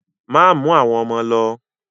Má mú àwọn ọmọ lo!